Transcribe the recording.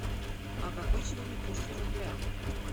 а какой сегодня курс рубля